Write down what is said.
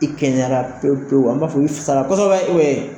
I kɛnɛyara pewu pewu n b'a fɔ i fisara kosɛbɛ